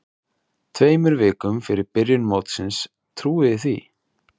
Tveimur vikum fyrir byrjun mótsins, trúiði því?